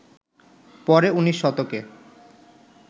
পরে উনিশ শতকে